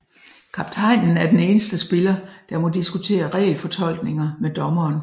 Kaptajnen er den eneste spiller der må diskutere regelfortolkninger med dommeren